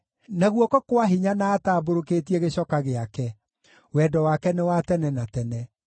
na guoko kwa hinya na atambũrũkĩtie gĩcoka gĩake, Wendo wake nĩ wa tene na tene.